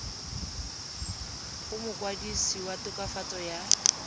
go mokwadise wa tokafatso ya